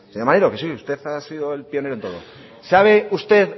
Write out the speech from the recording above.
señor maneiro sí que usted ha sido el pionero en todo sabe usted